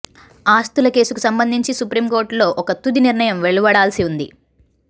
ఆస్తుల కేసుకు సంబంధించి సుప్రీం కోర్టులో ఒక తుది నిర్ణయం వెలువడాల్సి ఉంది